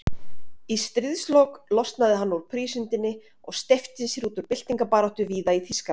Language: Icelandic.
Í stríðslok losnaði hann úr prísundinni og steypti sér út í byltingarbaráttu víða í Þýskalandi.